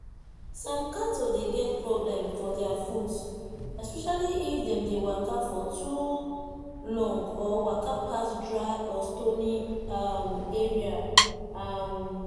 some cattle dey get problem for their foot especially if them dey waka for too long or waka pass dry or stony um area. um